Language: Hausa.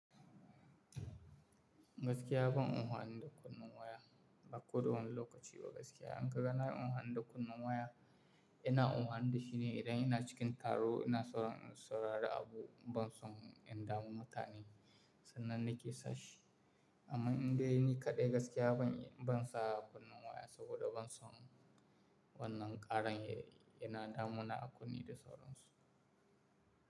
Gaskiya ban un hani da kunnen waya ba ko zuwa lokaci ba gaskiya. An ka ganani in ungo hani da kunnun waya, ina ungo hani da shi ne idan ina cikin taro ina tsoron in saurari abu ban son in damu mutane sannan nake sashi. Amma in dai ni kaɗai gaskiya ban, ban saba kunnen waya saboda ban son wannan ƙarin yana damuna a kunne da sauronsu.